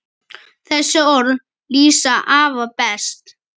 Þessi orð lýsa afa best.